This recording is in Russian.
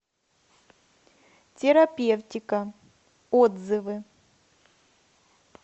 террапевтика отзывы